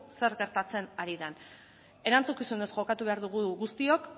zer gertatzen ari den erantzukizunez jokatu behar dugu guztiok